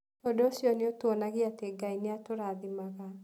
Ũndũ ũcio nĩ ũtuonagia atĩ Ngai nĩ ũtũrathimaga.